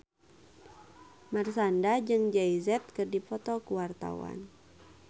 Marshanda jeung Jay Z keur dipoto ku wartawan